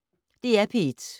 DR P1